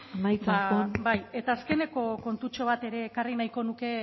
ba amaitzen joan bai eta azkeneko kontutxo bat ere ekarri nahiko nuke